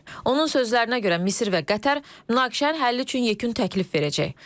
Onun sözlərinə görə Misir və Qətər münaqişənin həlli üçün yekun təklif verəcək.